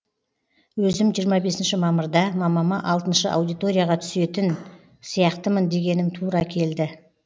өзім жиырма үшінші мамырда мамама алты аудиторияға түстетін сияқтымын дегенім тура келді